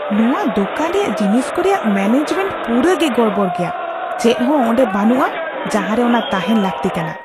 ᱱᱚᱶᱟ ᱫᱳᱠᱟᱱ ᱨᱮᱭᱟᱜ ᱡᱤᱱᱤᱥ ᱠᱚ ᱨᱮᱭᱟᱜ ᱢᱮᱱᱮᱡᱽᱢᱮᱱᱴ ᱯᱩᱨᱟᱹᱜᱮ ᱜᱚᱲᱵᱚᱲ ᱜᱮᱭᱟ ᱾ ᱪᱮᱫᱦᱚᱸ ᱚᱸᱰᱮ ᱵᱟᱹᱱᱩᱜᱼᱟ ᱡᱟᱦᱟᱸᱨᱮ ᱚᱱᱟ ᱛᱟᱦᱮᱱ ᱞᱟᱹᱠᱛᱤ ᱠᱟᱱᱟ ᱾